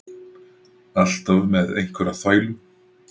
Alltaf með einhverja þvælu.